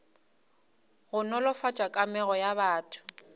go nolofatša kamego ya batho